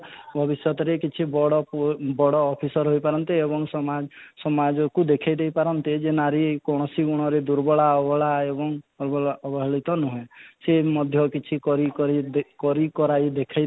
ଭବିଷ୍ୟତରେ କିଛି ବଡ post ବଡ ଅଫିସର ହୋଇ ପାରନ୍ତି ଏବଂ ସମାଜ ସମାଜକୁ ଦେଖେ ଦେଇ ପାରନ୍ତି ଏଇ ଯେ ନାରୀ କୋୖଣସି ଗୁଣରେ ଦୁର୍ବଳ ଅବଳା ଏବଂ ଅବଳା ଅବାଳୁତ ନୁହେଁ ସେ ମଧ୍ୟ କିଛି କରି କରି ଦେଖେଇ କରି କରାଇ ଦେଖାଇ